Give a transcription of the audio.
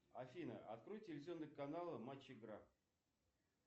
афина открой телевизионный канал матч игра